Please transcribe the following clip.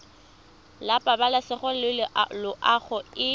la pabalesego le loago e